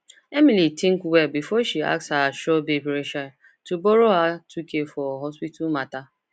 emily think well before she ask her sure babe rachel to borrow her two k for hospital matter